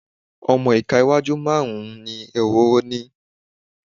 ọmọ ìka iwájú márùn-ún ni ehoro ní.